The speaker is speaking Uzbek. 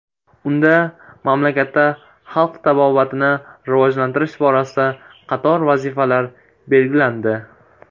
Unda mamlakatda xalq tabobatini rivojlantirish borasida qator vazifalar belgilandi.